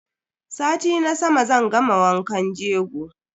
Sati na sama zan gama wankan jego.